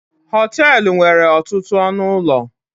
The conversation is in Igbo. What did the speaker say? họtelu nwere ọtụtụ ọnụ ụlọ